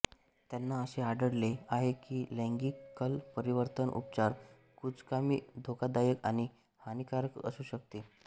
त्यांना असे आढळले आहे की लैंगिक कल परिवर्तन उपचार कुचकामी धोकादायक आणि हानिकारक असू शकते